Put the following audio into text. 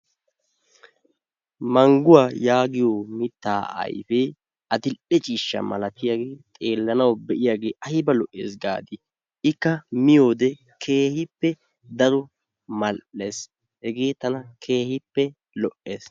Mangguwa yaagiyo mitta ayfee adl''e ciishsha maalatiyaage xeellanaw diyagee ayba lo''eese gaadi! ikka miyoode keehippe daro mal''ees. Hegee tana keehippe lo''ees.